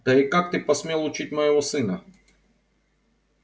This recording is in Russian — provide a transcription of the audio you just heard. да и как ты посмел учить моего сына